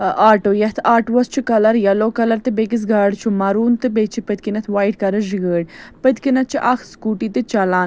اآٹوٗیتھ آٹوس چُھ colour yellow کلرتہٕ بیٚکِس گاڑِچُھ مروٗن تہٕ بیٚیہِ چُھ پٔتھۍ کِنٮ۪تھ وایٹ کلرٕچ گٲڑۍپٔتھۍکِنٮ۪تھ چھ اکھ سکوٗٹی .تہِ چلان